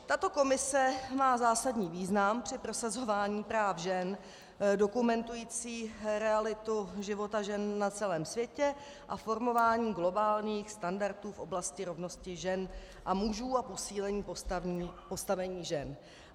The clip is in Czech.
Tato komise má zásadní význam při prosazování práv žen, dokumentující realitu života žen na celém světě a formování globálních standardů v oblasti rovnosti žen a mužů a posílení postavení žen.